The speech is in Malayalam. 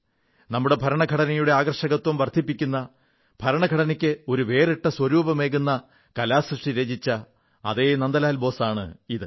നമ്മുടെ ഭരണഘടനയുടെ ആകർഷകത്വം വർധിപ്പിക്കുന്ന ഭരണഘടനക്ക് ഒരു വേറിട്ട സ്വരൂപമേകുന്ന കലാകൃതി രചിച്ച അതേ നന്ദലാൽ ബോസ് ആണ് ഇത്